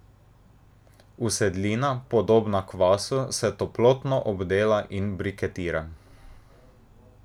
Usedlina, podobna kvasu, se toplotno obdela in briketira.